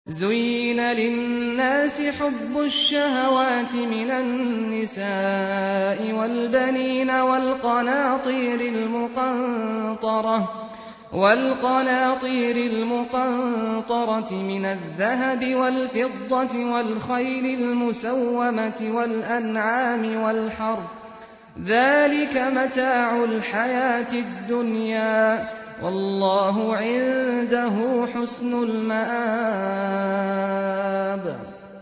زُيِّنَ لِلنَّاسِ حُبُّ الشَّهَوَاتِ مِنَ النِّسَاءِ وَالْبَنِينَ وَالْقَنَاطِيرِ الْمُقَنطَرَةِ مِنَ الذَّهَبِ وَالْفِضَّةِ وَالْخَيْلِ الْمُسَوَّمَةِ وَالْأَنْعَامِ وَالْحَرْثِ ۗ ذَٰلِكَ مَتَاعُ الْحَيَاةِ الدُّنْيَا ۖ وَاللَّهُ عِندَهُ حُسْنُ الْمَآبِ